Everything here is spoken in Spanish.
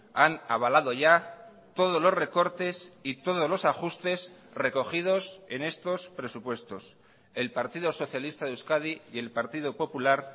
han avalado ya todos los recortes y todos los ajustes recogidos en estos presupuestos el partido socialista de euskadi y el partido popular